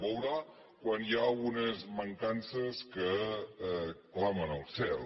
veurà quan hi ha unes man·cances que clamen al cel